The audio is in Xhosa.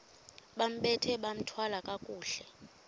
bambathe bathwale kakuhle